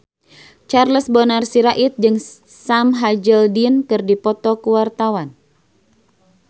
Charles Bonar Sirait jeung Sam Hazeldine keur dipoto ku wartawan